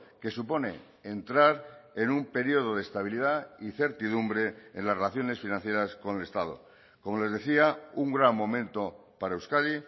que supone entrar en un periodo de estabilidad y certidumbre en las relaciones financieras con el estado como les decía un gran momento para euskadi